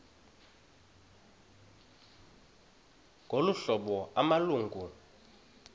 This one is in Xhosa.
ngolu hlobo amalungu